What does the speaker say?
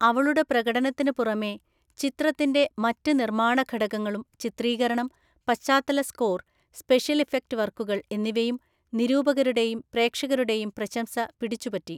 അവളുടെ പ്രകടനത്തിന് പുറമേ, ചിത്രത്തിന്റെ മറ്റ് നിർമ്മാണ ഘടകങ്ങളും ചിത്രീകരണം, പശ്ചാത്തല സ്കോർ, സ്പെഷ്യൽ ഇഫക്റ്റ് വർക്കുകൾ എന്നിവയും നിരൂപകരുടെയും പ്രേക്ഷകരുടെയും പ്രശംസ പിടിച്ചുപറ്റി.